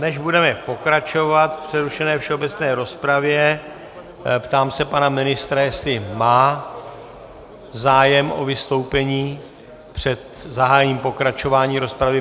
Než budeme pokračovat v přerušené všeobecné rozpravě, ptám se pana ministra, jestli má zájem o vystoupení před zahájením pokračování rozpravy.